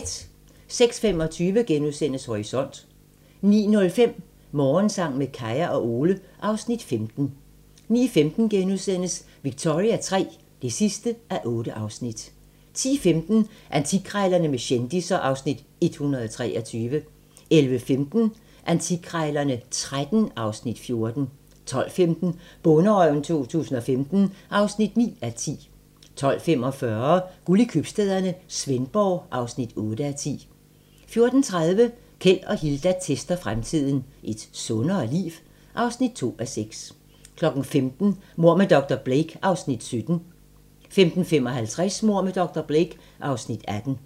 06:25: Horisont * 09:05: Morgensang med Kaya og Ole (Afs. 15) 09:15: Victoria III (8:8)* 10:15: Antikkrejlerne med kendisser (Afs. 123) 11:15: Antikkrejlerne XIII (Afs. 14) 12:15: Bonderøven 2017 (9:10) 12:45: Guld i købstæderne - Svendborg (8:10) 14:30: Keld og Hilda tester fremtiden - Et sundere liv? (2:6) 15:00: Mord med dr. Blake (Afs. 17) 15:55: Mord med dr. Blake (Afs. 18)